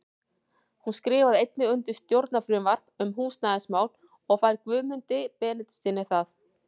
Hún skrifar einnig undir stjórnarfrumvarp um húsnæðismál og fær Guðmundi Benediktssyni það.